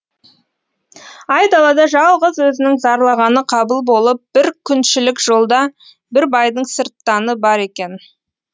айдалада жалғыз өзінің зарлағаны қабыл болып бір күншілік жолда бір байдың сырттаны бар екен